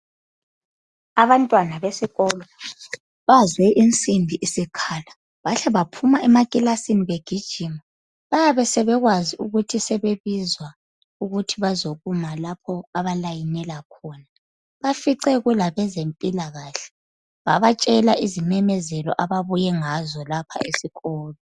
Abantwana besikolo bazwe insimbi isikhala bahle baphuma emakilasini begijima. Bayabe sebekwazi ukuthi sebebizwa ukuthi bazokuma lapho abalayinela khona. Bafice kulabezempilakahle ,babatshela izimemezelo ababuye ngazo lapha esikolo.